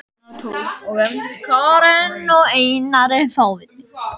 Karen: Og hvað á barnið að heita?